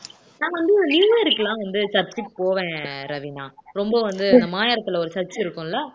நான் வந்து நியூ இயர்க்குலாம் வந்து church க்கு போவேன் ரவிண்ணா ரொம்ப வந்து மாயவரத்துல ஒரு church இருக்கும்ல